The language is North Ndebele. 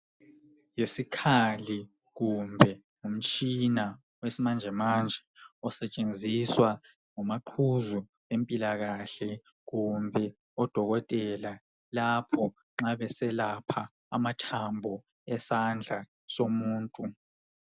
Yisikhali kumbe ngumtshina wesimanjemanje osetshenziswa ngomaqhuzu bempilakahle, kumbe odokotela, lapha eselapha amathambo esandla somuntu.